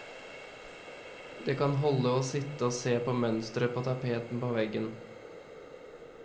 Det kan holde å sitte og se på mønsteret på tapeten på veggen.